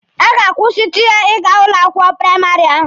A ga-akwụsịtụ ya n'ụlọ akwụkwọ praịmarị ahụ?